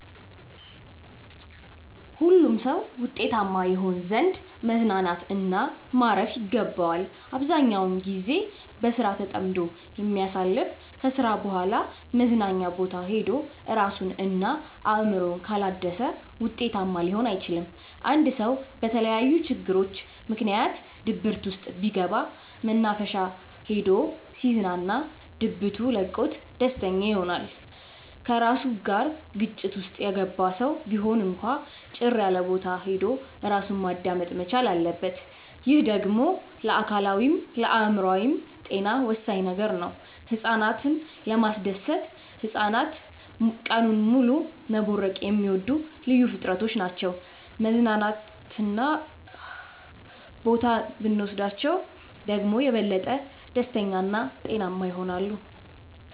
ሁሉም ሰው ውጤታማ ይሆን ዘንድ መዝናናት እና ማረፍ ይገባዋል። አብዛኛውን ግዜውን በስራ ተጠምዶ የሚያሳልፍ ከስራ በኋላ መዝናኛ ቦታ ሄዶ እራሱን እና አእምሮውን ካላደሰ ውጤታማ ሊሆን አይችልም። አንድ ሰው በተለያዩ ችግሮች ምክንያት ድብርት ውስጥ ቢገባ መናፈሻ ሄዶ ሲዝናና ድብቱ ለቆት ደስተኛ ይሆናል። ከራሱ ጋር ግጭት ውስጥ የገባ ሰው ቢሆን እንኳን ጭር ያለቦታ ሄዶ እራሱን ማዳመጥ መቻል አለበት። ይህ ደግሞ ለአካላዊይም ለአእምሮአዊም ጤና ወሳኝ ነገር ነው። ህፃናትን ለማስደሰት ህፃናት ቀኑን ሙሉ መቦረቅ የሚወዱ ልዩ ፍጥረቶች ናቸው መዝናና ቦታ ብኖስዳቸው ደግሞ የበለጠ ደስተኛ እና ጤናማ ይሆናሉ።